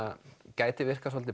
gæti virkað svolítið